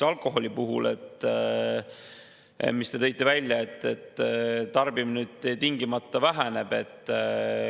Alkoholi puhul te tõite välja, et tarbimine tingimata väheneb.